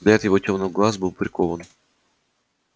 взгляд его тёмных глаз был прикован